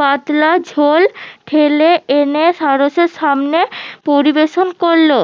পাতলা ঝোল ঢেলে এনে সারসের সামনে পরিবেশন করলো